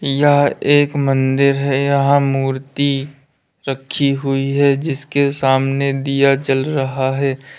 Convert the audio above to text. यह एक मंदिर है यहां मूर्ति रखी हुई है जिसके सामने दिया जल रहा है।